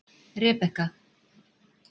Rebekka